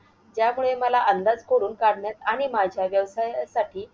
यामुळे मला अंदाज खोडून काढण्यात आणि माझ्या व्यवसायासाठी